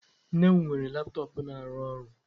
Nne m weere laptop na-arụ ọrụ.